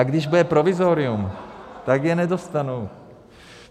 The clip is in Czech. A když bude provizorium, tak je nedostanou.